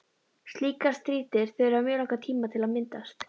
Slíkar strýtur þurfa mjög langan tíma til að myndast.